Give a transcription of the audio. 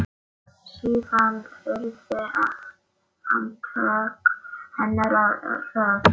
Síðan urðu handtök hennar hröð.